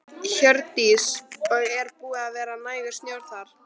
Hjördís: Og er búið að vera nægur snjór þar?